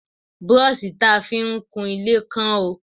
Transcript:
Brọ́ṣì ta fi ń kunlé kán o.